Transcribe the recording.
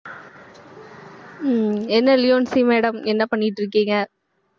ஹம் என்ன லியோன்சி madam என்ன பண்ணிட்டு இருக்கீங்க